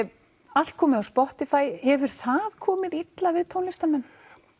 allt komið á Spotify hefur það komið illa við tónlistarmenn